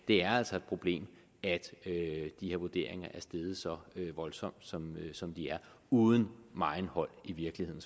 det er altså et problem at de her vurderinger er steget så voldsomt som som de er uden megen hold i virkeligheden